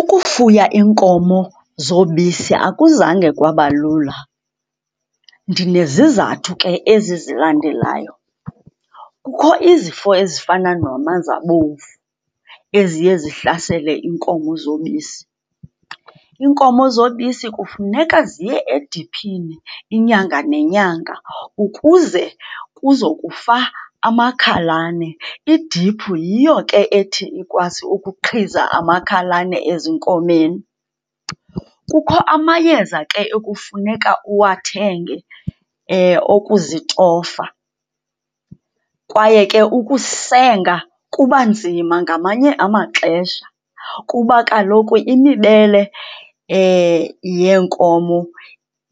Ukufuya iinkomo zobisi akuzange kwaba lula. Ndinezizathu ke ezi zilandelayo. Kukho izifo ezifana nomanzabomvu eziye zihlasele iinkomo zobisi. Iinkomo zobisi kufuneka ziye ediphini inyanga nenyanga ukuze kuzokufa amakhalane. Idiphu yiyo ke ethi ikwazi ukuqhiza amakhalane ezinkomeni. Kukho amayeza ke ekufuneka uwathenge okuzitofa, kwaye ke ukusenga kuba nzima ngamanye amaxesha kuba kaloku imibele yeenkomo